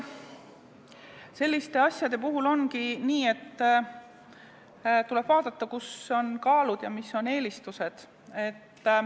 Eks selliste asjade puhul ongi nii, et tuleb vaadata, kus on kaalud ja mis on eelistused.